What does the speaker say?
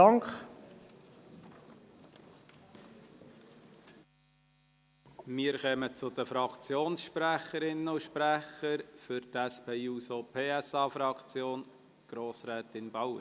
Wir kommen zu den Fraktionssprecherinnen und -sprechern, für die SP-JUSO-PSAFraktion Grossrätin Bauer.